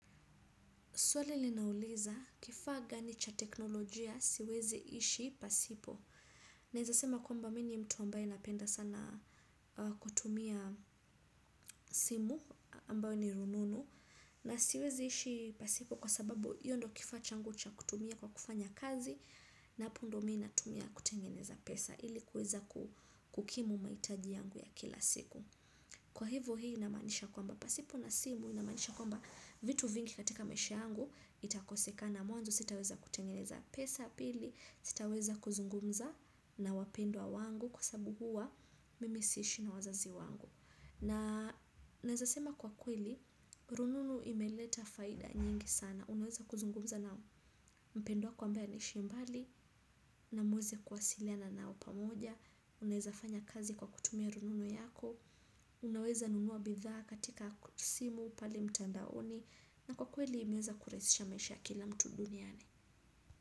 Swali linauliza kifaa gani cha teknolojia siwezi ishi pasipo. Naweza sema kwamba mimi ni mtu ambaye napenda sana kutumia simu ambayo ni rununu. Na siwezi ishi pasipo kwa sababu hiyo ndio kifaa changu cha kutumia kwa kufanya kazi na hapo ndio mimi natumia kutengeneza pesa ili kuweza kukimu mahitaji yangu ya kila siku. Kwa hivo hii inamaanisha kwamba pasipo na simu inamaanisha kwamba vitu vingi katika maisha yangu itakosekana. Mwanzo sitaweza kutengeneza pesa. Pili, sitaweza kuzungumza na wapendwa wangu kwa sababu huwa mimi si ishi na wazazi wangu. Na naweza sema kwa kweli, rununu imeleta faida nyingi sana. Unaweza kuzungumza na mpendwa wako ambaye anaishi mbali na muweze kuwasiliana nao pamoja. Unaweza kufanya kazi kwa kutumia rununu yako. Unaweza nunua bidhaa katika simu pale mtandaoni. Na kwa kweli imeweza kurahisisha maisha ya kila mtu duniani.